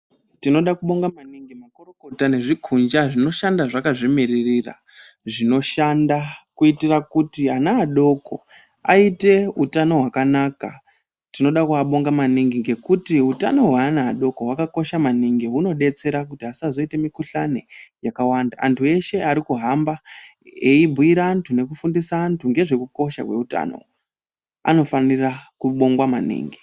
Tinoda kubonga maningi makorokota nezvikunja zvinoshanda zvakazvimiririra, zvinoshanda kuitira kuti ana adoko aite utano hwakanaka. Tinoda kuabonga maningi ngekuti utano hweana adoko hwakakosha maningi hunodetsera kuti asazoite mikhuhlani yakawanda. Antu eshe arikuhamba eibhuyira antu nekufundisa antu ngezvekukosha kweutano anofanire kubongwa maningi.